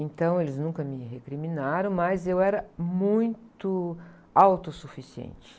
Então, eles nunca me recriminaram, mas eu era muito autossuficiente.